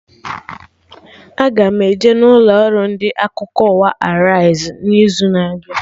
Aga m eje ụlọ ọrụ ndị akụkọ ụwa Arise n'izu na-abịa